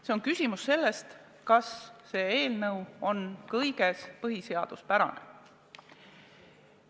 See on küsimus sellest, kas see eelnõu on kõiges põhiseaduspärane.